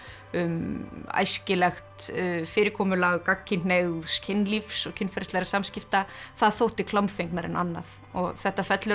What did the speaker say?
um æskilegt fyrirkomulag gagnkynhneigðs kynlífs og kynferðislegra samskipta það þótti klámfengnara en annað og þetta fellur að